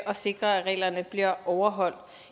og sikre at reglerne bliver overholdt